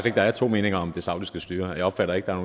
at der er to meninger om det saudiske styre jeg opfatter ikke at